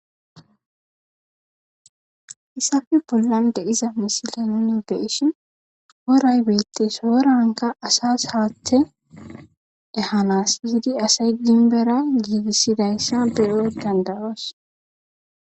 Hissasi bollan de'iza missile nuuni be'ishshin woray bettees worankka asas haththe ehnas biidi asay nunara giigissidayssa beyo danda'oos